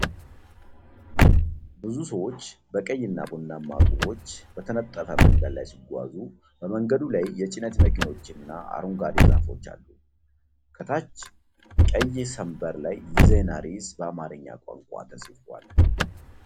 ብዙ ሰዎች በቀይና ቡናማ ጡቦች በተነጠፈ መንገድ ላይ ሲጓዙ። በመንገዱ ላይ የጭነት መኪኖችና አረንጓዴ ዛፎች አሉ። ከታች ቀይ ሰንበር ላይ የዜና ርዕስ በአማርኛ ቋንቋ ተጽፏል።